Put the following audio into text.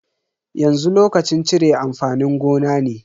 Yanzu lokacin cire amfanin gona ne.